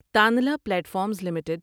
تانلا platforms limited